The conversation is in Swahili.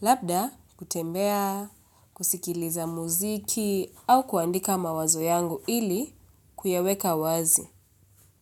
Labda, kutembea, kusikiliza mziki au kuandika mawazo yangu ili kuyaweka wazi.